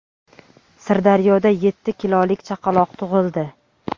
Sirdaryoda yetti kilolik chaqaloq tug‘ildi.